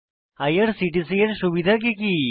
IRCTC এর সুবিধা কি কি